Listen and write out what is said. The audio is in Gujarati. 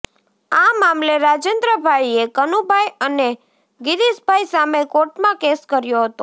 આ મામલે રાજેન્દ્રભાઈએ કનુભાઈ અને ગીરીશભાઈ સામે કોર્ટમાં કેસ કર્યો હતો